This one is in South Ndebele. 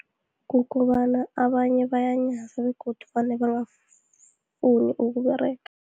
Kukobana abanye bayanyaza, begodu vane bangafuni ukuberega.